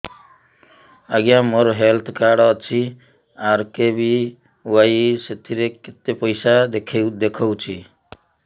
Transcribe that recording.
ଆଜ୍ଞା ମୋର health card ଅଛି ଆର୍.କେ.ବି.ୱାଇ ସେଥିରେ କେତେ ପଇସା ଦେଖଉଛି